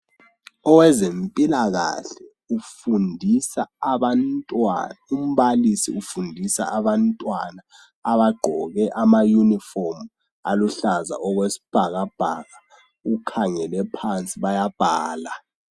Owezempilakahle ufundisa abantwana, umbalisi ufundisa abantwana abagqoke amayunifomu aluhlaza okwesibhakabhaka ukhangele phansi bayabhala.